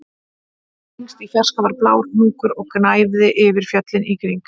Lengst í fjarska var blár hnúkur og gnæfði yfir fjöllin í kring